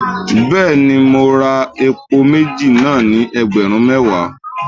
Bẹ́ẹ̀ni, mo ra àpò méjì náà ni ẹgbẹ̀rún mẹ́wàá